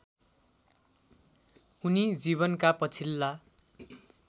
उनी जीवनका पछिल्ला